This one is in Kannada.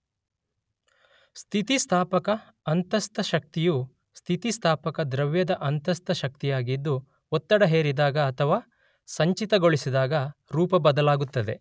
ಸ್ಥಿತಿಸ್ಥಾಪಕ ಅಂತಸ್ಥ ಶಕ್ತಿಯು ಸ್ಥಿತಿಸ್ಥಾಪಕ ದ್ರವ್ಯದ ಅಂತಸ್ಥ ಶಕ್ತಿಯಾಗಿದ್ದು ಒತ್ತಡ ಹೇರಿದಾಗ ಅಥವಾ ಸಂಚಿತಗೊಳಿಸಿದಾಗ ರೂಪಬದಲಾಗುತ್ತದೆ.